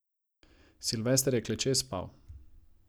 Silvester je kleče spal.